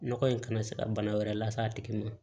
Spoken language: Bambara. Nɔgɔ in kana se ka bana wɛrɛ lase a tigi ma